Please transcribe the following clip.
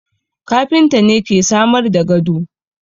Kafinta ne ke samar da gado